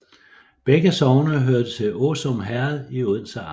Begge sogne hørte til Åsum Herred i Odense Amt